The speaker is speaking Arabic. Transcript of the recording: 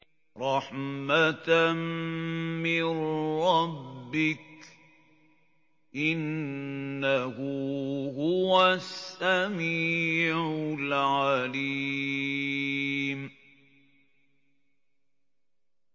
رَحْمَةً مِّن رَّبِّكَ ۚ إِنَّهُ هُوَ السَّمِيعُ الْعَلِيمُ